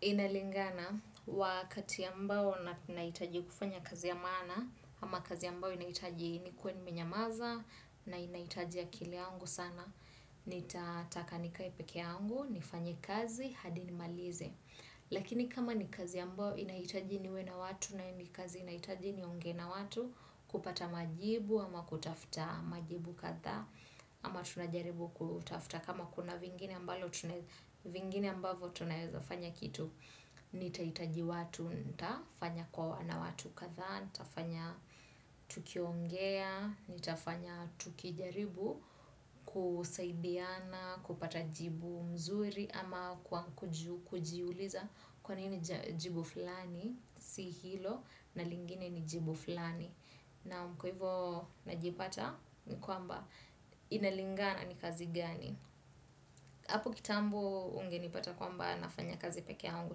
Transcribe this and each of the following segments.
Inalingana wakati ambao na hitajia kufanya kazi ya maana ama kazi ambayo inahitaji nikuwe nimenyamaza na inahitaji akili yangu sana. Nitataka nikae peke yangu, nifanye kazi hadi ni malize. Lakini kama ni kazi ambayo inahitaji niwe na watu ambavyo tunaeza fanya kitu nitahitaji watu, nitafanya kuwa na watu kadhaa nitafanya tukiongea, nitafanya tukijaribu kusaidiana, kupata jibu mzuri ama kujiuliza kwa nini jibu fulani si hilo na lingine ni jibu fulani naam kwa hivo najipata kwamba inalingana ni kazi gani. Apo kitambo ungenipata kwamba nafanya kazi peke yangu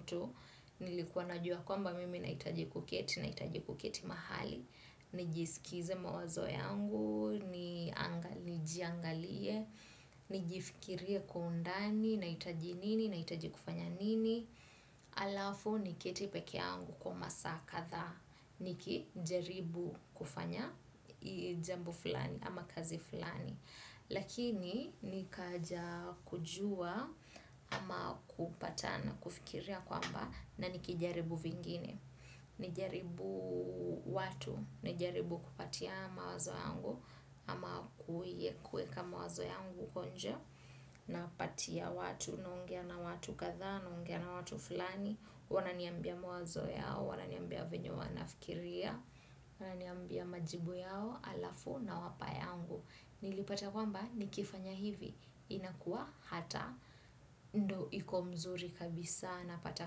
tu, nilikuwa najua kwamba mimi nahitaji kuketi, nahitaji kuketi mahali, nijisikize mawazo yangu, nijiangalie, nijifikirie kwa undani, nahitaji nini, nahitaji kufanya nini, alafu niketi peke yangu kwa masaa kadhaa niki jaribu kufanya jambo fulani ama kazi fulani lakini nikaja kujua ama kupata nafikiri kwamba na nikijaribu vingine nijaribu watu, nijaribu kupatia mawazo yangu ama kuweka mawazo yangu konja. Na patia watu, naongea na watu kadhaa, naongea na watu fulani. Wananiambia mawazo yao, wananiambia venye wanafikiria. Wananiambia majibu yao, alafu nawapa yangu. Nilipata kwamba nikifanya hivi inakuwa hata ndo iko mzuri kabisa na pata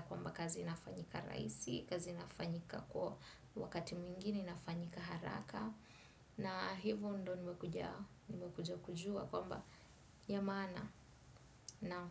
kwamba kazi nafanyika rahisi, kazi nafanyika kwa wakati mwingini inafanyika haraka na hivyo ndo nimekuja kujua kwamba ya maana naam.